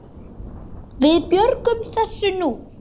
Við björgum þessu nú.